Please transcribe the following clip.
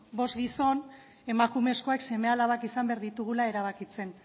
bost gizon emakumezkoek seme alabak izan behar ditugula erabakitzen